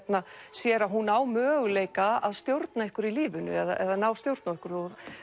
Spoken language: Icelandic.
sér að hún á möguleika á að stjórna einhverju í lífinu eða að ná stjórn á einhverju